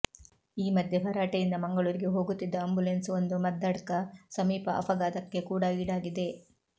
ಈ ಮಧ್ಯೆ ಭರಾಟೆಯಿಂದ ಮಂಗಳೂರಿಗೆ ಹೋಗುತ್ತಿದ್ದ ಅಂಬುಲೆನ್ಸ್ ಒಂದು ಮದ್ದಡ್ಕ ಸಮೀಪ ಅಪಘಾತಕ್ಕೆ ಕೂಡ ಈಡಾಗಿದೆ